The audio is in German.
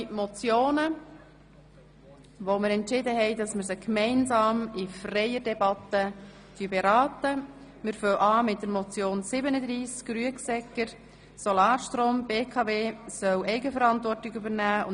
Wir haben entschieden, diese Vorstösse gemeinsam im Rahmen einer freien Debatte zu beraten.